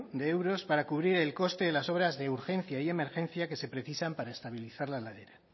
de euros para cubrir el coste de las obras de urgencia y emergencia que se precisan para estabilizar la ladera